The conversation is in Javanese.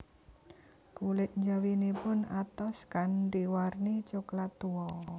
Kulit njawinipun atos kanthi warni coklat tua